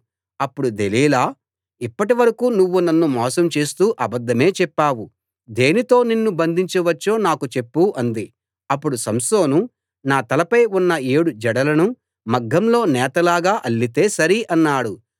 అప్పుడు దెలీలా ఇప్పటివరకూ నువ్వు నన్ను మోసం చేస్తూ అబద్ధమే చెప్పావు దేనితో నిన్ను బంధించవచ్చో నాకు చెప్పు అంది అప్పుడు సంసోను నా తలపై ఉన్న ఏడు జడలను మగ్గంలో నేతలాగ అల్లితే సరి అన్నాడు